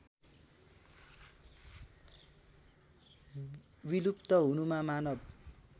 विलुप्त हुनुमा मानव